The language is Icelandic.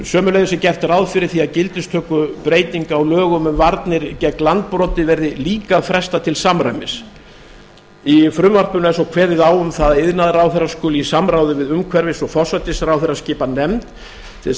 sömuleiðis er gert ráð fyrir því að gildistökubreytingu á lögunum um varnir gegn landbroti verði líka frestað til samræmis í frumvarpinu er svo kveðið á um það að iðnaðarráðherra skuli í samráði við umhverfis og forsætisráðherra skipa nefnd til þess að